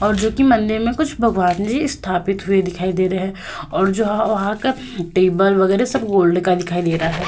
और जो कि मंदिर में कुछ भगवान जी स्थापित हुए दिखाई दे रहे है और जो वह वहां का टेबल वगैरा सब गोल्ड का दिखाई दे रहा है।